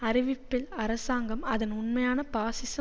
அறிவிப்பில் அரசாங்கம் அதன் உண்மையான பாசிச